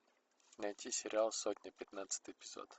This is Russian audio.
найти сериал сотня пятнадцатый эпизод